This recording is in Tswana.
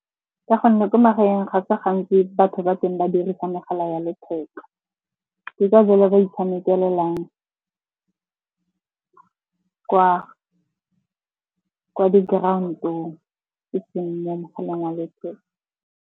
Ka gonne ko magaeng ga tsa gantsi batho ba teng ba dirisa megala ya letheka. Ke ka jalo ba itshamekelelang kwa di-ground-ong eseng mo mogaleng wa letheka.